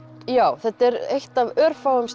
já þetta er eitt af örfáum